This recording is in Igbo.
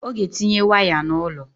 Ọ ga-etinye waya n'ụlọ